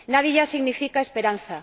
Nadiya significa esperanza.